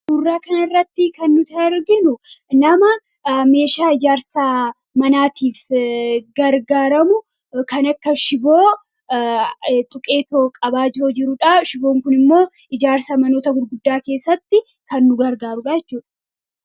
Suuraa kana irratti kan arginu nama meeshaa ijaarssatiif gargaramu kan akka shiboo xuqqeetoo qaba jirudha. shiboon kun immoo ijaarsa manoota gurguddaa keessatti kan nu gargaarudha jechuudha.